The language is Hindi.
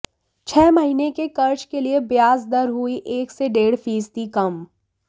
छह महीने के कर्ज़ के लिए ब्याज़ दर हुई एक से डेढ़ फीसदी कम